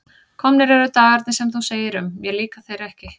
Komnir eru dagarnir sem þú segir um: mér líka þeir ekki.